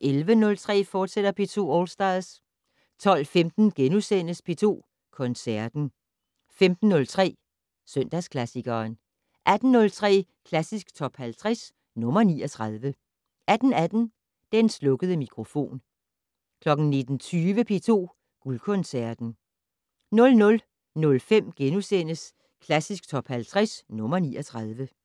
11:03: P2 All Stars, fortsat 12:15: P2 Koncerten * 15:03: Søndagsklassikeren 18:03: Klassisk Top 50 - nr. 39 18:18: Den slukkede mikrofon 19:20: P2 Guldkoncerten 00:05: Klassisk Top 50 - nr. 39 *